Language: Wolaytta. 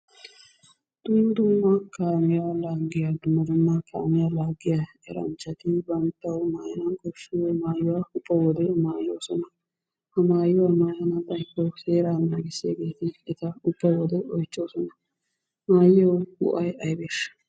Dumma dumma kaamiya laaggiya dumma dumma kaamiya laaggiya eranchchati bantta maayana koshshiya maayuwa maayoosona. Ha maayuwa maayana xaykko seeraa naagissiyageeti eta ubba wode oychchhoosona. He maayuwa go'ay aybeeshsha?